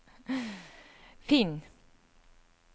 finn